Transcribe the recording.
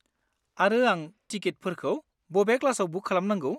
आरो आं टिकिटफोरखौ बबे क्लासआव बुक खालामनांगौ?